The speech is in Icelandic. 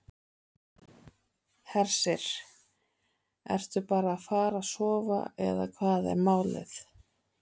Hersir: Ertu bara að fara að sofa eða hvað er málið?